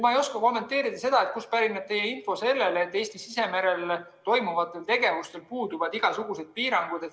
Ma ei oska kommenteerida seda, kust pärineb teie info, et Eesti sisemerel toimuvatel tegevustel puuduvad igasugused piirangud.